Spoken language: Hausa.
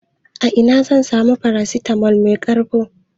Ina zan samu paracetamol mai ƙarko?